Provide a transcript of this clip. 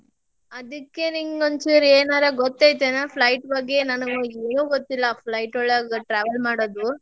ಅದಕ್ಕೆ ನಿಂಗ್ ಒಂದ್ ಚೂರ್ ಏನಾರೆ ಗೊತ್ತೈತೆನ್ flight ಬಗ್ಗೇ ಏನಾನ, ನನಗ ಏನು ಗೊತ್ತಿಲ್ಲಾ flight ಒಳಗ್ travel ಮಾಡೋದು.